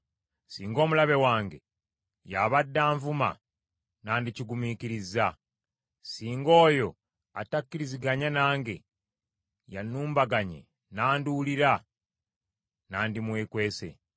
Singa omulabe wange y’abadde anvuma, nandikigumiikirizza; singa oyo atakkiriziganya nange y’annumbaganye n’anduulira, nandimwekwese.